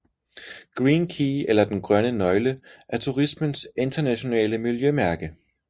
Green Key eller Den Grønne Nøgle er turismens internationale miljømærke